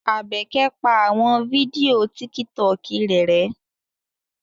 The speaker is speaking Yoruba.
Abeke pa awọn fidio Tìkítọkì rẹ rẹ̀